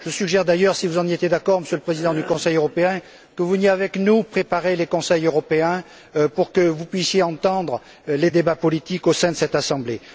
Je suggère d'ailleurs, si vous êtes d'accord, Monsieur le Président du Conseil européen, que vous veniez avec nous préparer les Conseils européens pour que vous puissiez entendre les débats politiques au sein de cette Assemblée.